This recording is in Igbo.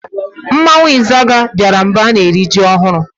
Mmanwụ Izaga bịara mgbe a na-eri ji ọhụrụ.